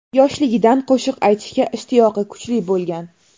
Yoshiligidan qo‘shiq aytishga ishtiyoqi kuchli bo‘lgan.